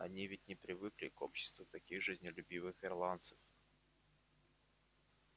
они ведь не привыкли к обществу таких жизнелюбивых ирландцев